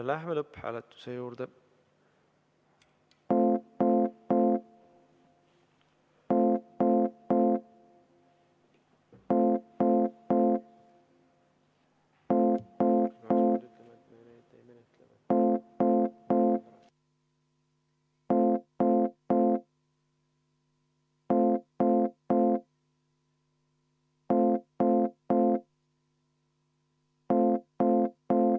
Läheme lõpphääletuse juurde.